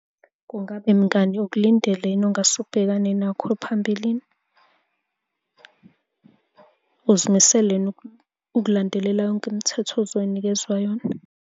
Kungabe mngani ukulindele yini ongase ubhekane nakho phambilini? Uzimisele yini ukulandelela yonke imithetho ozonikezwa yona.